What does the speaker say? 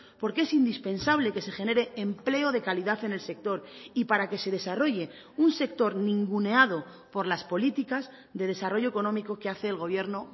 porque es indispensable que se genere empleo de calidad en el sector y para que se desarrolle un sector ninguneado por las políticas de desarrollo económico que hace el gobierno